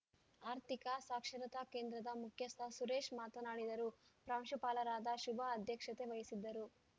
ಆರ್ಥಿಕ ಸಾಕ್ಷರತಾ ಕೇಂದ್ರದ ಮುಖ್ಯಸ್ಥ ಸುರೇಶ್‌ ಮಾತನಾಡಿದರು ಪ್ರಾಂಶುಪಾಲರಾದ ಶುಭಾ ಅಧ್ಯಕ್ಷತೆ ವಹಿಸಿದ್ದರು